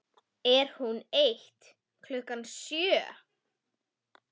Er hún eitt klukkan sjö?